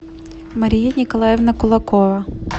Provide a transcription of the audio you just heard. мария николаевна кулакова